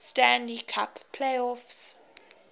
stanley cup playoffs